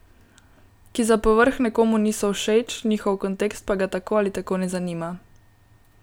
Ki za povrh nekomu niso všeč, njihov kontekst pa ga tako ali tako ne zanima.